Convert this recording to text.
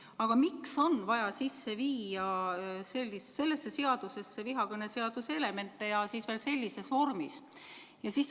Aga miks on sellesse seadusesse vaja sisse viia vihakõneseaduse elemente ja veel sellises vormis?